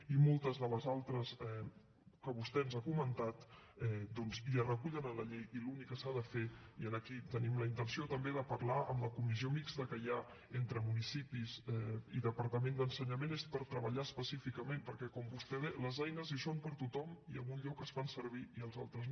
i moltes de les altres que vostè ens ha comentat doncs ja es recullen a la llei i l’únic que s’ha de fer i aquí tenim la intenció també de parlar amb la comissió mixta que hi ha entre municipis i departament d’ensenyament és treballar específicament perquè com vostè deia les eines hi són per a tothom i en un lloc es fan servir i als altres no